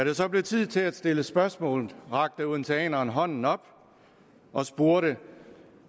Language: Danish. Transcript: det så blev tid til at stille spørgsmål rakte en odenseaner hånden op og spurgte